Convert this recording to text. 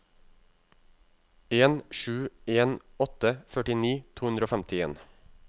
en sju en åtte førtini to hundre og femtien